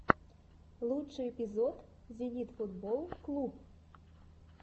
лучший эпизод зенит футболл клуб